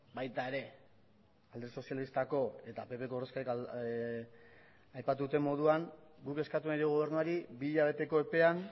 baita ere alde sozialistako eta pp ko ordezkariak aipatutako moduan guk eskatu nahi diogu gobernuari bi hilabeteko epean